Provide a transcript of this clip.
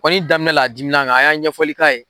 Konin damimɛ la a dimina kan, a y'a ɲɛfɔli k'a ye